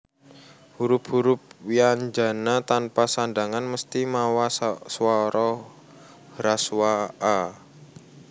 Hurup hurup wyanjana tanpa sandhangan mesthi mawa swara hraswa a